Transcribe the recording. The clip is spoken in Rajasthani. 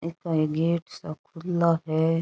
इको एक गेट सो खुलाे है।